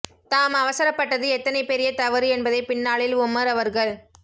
தாம் அவசரப்பட்டது எத்தனை பெரிய தவறு என்பதைப் பின்னாளில் உமர் அவர்கள்